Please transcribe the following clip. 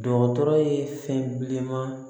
Dɔgɔtɔrɔ ye fɛn bileman